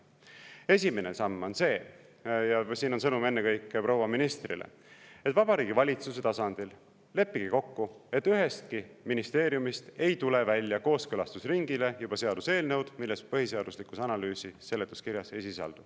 Esimene samm on see – ja siin on sõnum ennekõike proua ministrile –, et Vabariigi Valitsuse tasandil leppige kokku, et ühestki ministeeriumist ei tule välja kooskõlastusringile seaduseelnõu, milles põhiseaduslikkuse analüüsi seletuskirjas ei sisaldu.